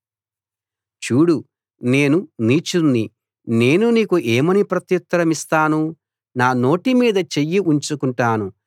చూడు నేను నీచుణ్ణి నేను నీకు ఏమని ప్రత్యుత్తరమిస్తాను నా నోటి మీద చెయ్యి ఉంచుకుంటాను